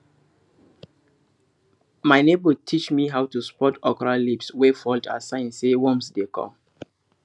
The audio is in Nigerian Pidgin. my neighbour teach me how to spot okra leaves wey fold as sign say worms dey come